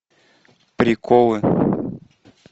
приколы